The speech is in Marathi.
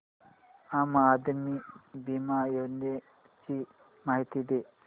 आम आदमी बिमा योजने ची माहिती दे